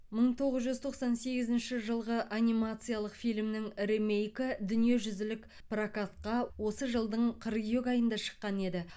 мың тоғыз жүз тоқсан сегізінші жылғы анимациялық фильмнің ремейкі дүниежүзілік прокатка осы жылдың қыркүйек айында шыққан еді